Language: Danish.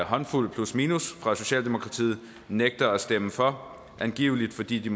håndfuld plusminus fra socialdemokratiet nægter at stemme for angiveligt fordi de